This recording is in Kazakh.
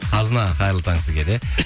қазына қайырлы таң сізге де